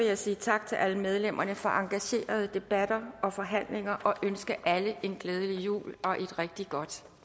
jeg sige tak til alle medlemmerne for engagerede debatter og forhandlinger og ønske alle en glædelig jul og et rigtig godt